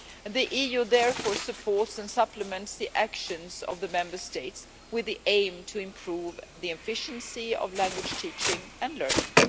The EU therefore supports and supplements the actions of the Member States, with the aim to improve the efficiency of language teaching and learning.